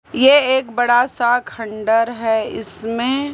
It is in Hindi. ये एक बड़ा सा खंडर है इसमें।